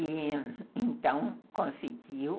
E então conseguiu.